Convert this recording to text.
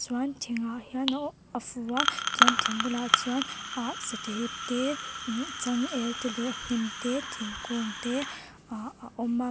chuan thingah hian ohh a fu a chuan thing bulah chuan ah satha ip te mm changel te leh hnim te thingkûng te ahh a awm a.